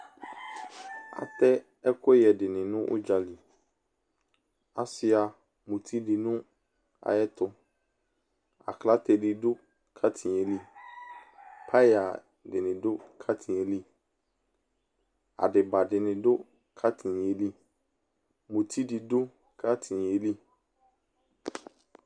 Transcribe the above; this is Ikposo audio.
Atɛ ɛkuyɛ de ne no udzaliAsua muti de no ayetoAklate de do katin yɛ liPaya de ne do katin ɛli Adiba de ne do katin ɛli Muti de do katin ɛli